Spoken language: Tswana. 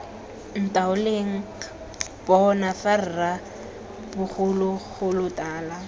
ntaoleng bona fa rra bogologolotala